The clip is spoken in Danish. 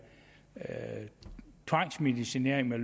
tvangsmedicinering med